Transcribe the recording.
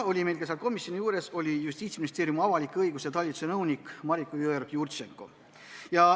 Komisjoni koosolekul oli ka Justiitsministeeriumi avaliku õiguse talituse nõunik Mariko Jõeorg-Jurtšenko.